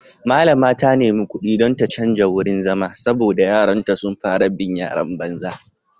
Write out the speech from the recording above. Mallama ta nemi kudi don ta canja wurin zama saboda yaranta sun fara bin yaran banza.